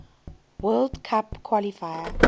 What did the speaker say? world cup qualifier